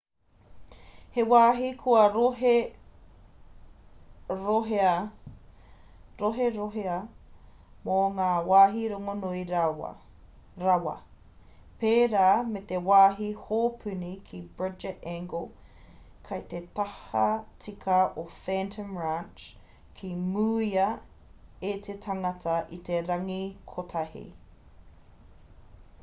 he wāhi kua roherohea mō ngā wāhi rongonui rawa pērā me te wāhi hōpuni ki bright angel kei te tahatika o phantom ranch ka mūia e te tangata i te rangi kotahi